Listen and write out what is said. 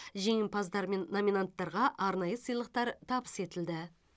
жеңімпаздар мен номинанттарға арнайы сыйлықтар табыс етілді